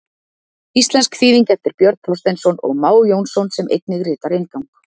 Íslensk þýðing eftir Björn Þorsteinsson og Má Jónsson sem einnig ritar inngang.